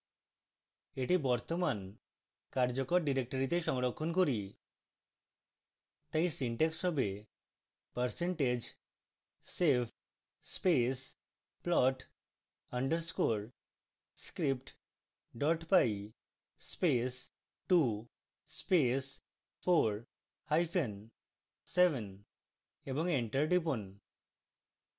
এটি বর্তমান কার্যকর ডিরেক্টরীতে সংরক্ষণ করি তাই syntax savepercentage save space plot underscore script py space 2 space 4 hyphen 7 এবং এন্টার টিপুন